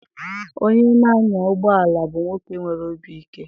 onye na-anya ụgbọelu bụ nwoke nwere obi ike.